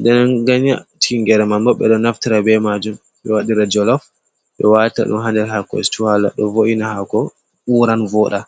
Nɗen ganya tingere man ɓo ɓe ɗo naftira ɓe majum ɓe waɗira jolaf. Ɓe wata ɗum ha nɗer haako situw hala ɗo vo’ina hako uran voɗa.